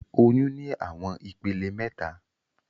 Oyun ni awọn ipele mẹta.